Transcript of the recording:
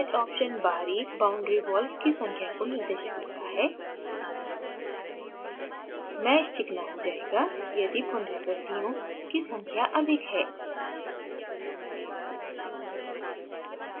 nsmoothpatch option बाहरी boundary wall की संख्या को निर्दिष्ट करता है mesh चिकना हो जायेगा यदि पुनरावृत्तियों iterations की संख्या अधिक है